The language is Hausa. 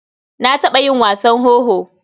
Na taɓa yin wasan wowo.